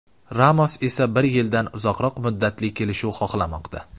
Ramos esa bir yildan uzoqroq muddatli kelishuv xohlamoqda.